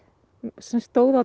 sem stóð á